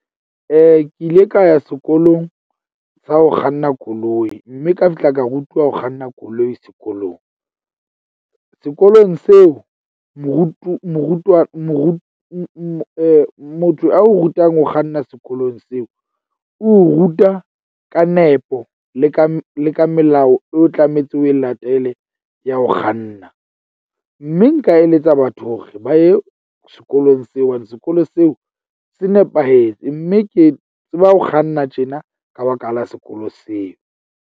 Ke ile ka ya sekolong sa ho kganna koloi mme ka tla ka rutuwa ho kganna koloi sekolong. Sekolong seo motho a o rutang ho kganna sekolong seo. O ruta ka nepo le ka le ka melao eo tlametse o e latele ya ho kganna. Mme nka eletsa batho hore ba ye sekolong seo hobane sekolo seo se nepahetse. Mme ke tseba ho kganna tjena ka baka la sekolo seo.